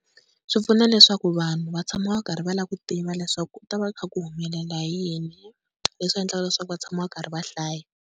Swi pfuna leswaku vanhu va tshama va karhi va lava ku tiva leswaku, ku ta va kha ku humelela hi yini leswi endlaka leswaku va tshama va karhi va hlaya.